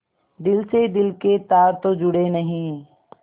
दिल से दिल के तार तो जुड़े नहीं